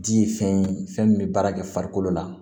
Di ye fɛn ye fɛn min bɛ baara kɛ farikolo la